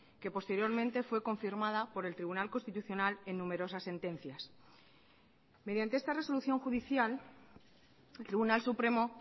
que posteriormente fue confirmada por el tribunal constitucional en numerosas sentencias mediante esta resolución judicial el tribunal supremo